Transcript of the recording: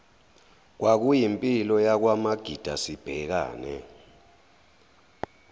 kwakuyimpilo yakwamagida sibhekane